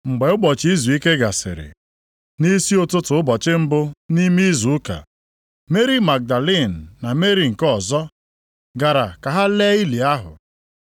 Mgbe ụbọchị izuike gasịrị, nʼisi ụtụtụ ụbọchị mbụ nʼime izu ụka, Meri Magdalin na Meri nke ọzọ, gara ka ha lee ili ahụ.